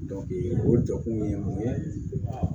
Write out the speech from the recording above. o jɔkun ye mun ye